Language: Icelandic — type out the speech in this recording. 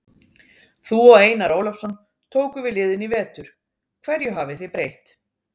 Þú og Einar Ólafsson tóku við liðinu í vetur, hverju hafið þið breytt?